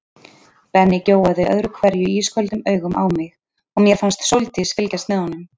Benni gjóaði öðru hverju ísköldum augum á mig og mér fannst Sóldís fylgjast með honum.